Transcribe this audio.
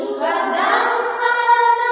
सुखदां वरदां मातरम्